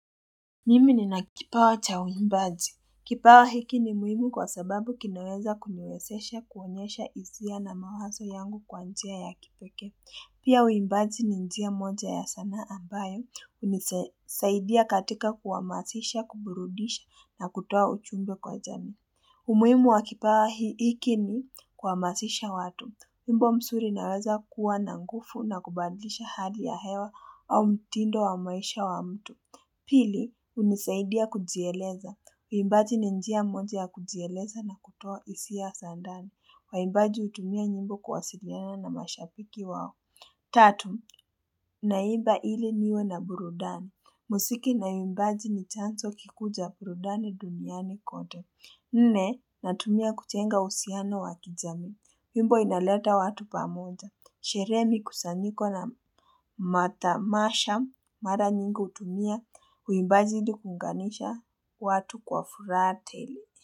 Nimi nina kipawa cha uimbaji. Kipawa hiki ni muhimu kwa sababu kinaweza kumiwezesha kuonyesha hisia na mawazo yangu kwa njia ya kipekee. Pia uimbaji ni njia moja ya sanaa ambayo hunisaidia katika kuhamasisha, kuburudisha na kutoa uchumbe kwa jani. Umuhimu wa kipawa hiki ni kuhamasisha watu. Wimbo msuri inaweza kuwa na ngufu na kubadlisha hali ya hewa au mtindo wa maisha wa mtu. Pili, hunisaidia kujieleza. Uimbaji ni njia moja ya kujieleza na kutoa hisa za ndani. Waimbaji hutumia nyimbo kuwasiriana na mashabiki wao. Tatu, naiba ili niwe na burudani. Musiki na uimbaji ni chanzo kikuu cha burudani duniani kote. Nne, natumia kujenga uhusiano wa kijamii. Wimbo inaleta watu pamoja. Sherehe mikusanyiko na matamasha. Mara nyingi hutumia uimbaji ili kuunganisha watu kwa furaha tele.